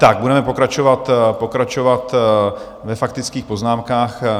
Tak budeme pokračovat ve faktických poznámkách.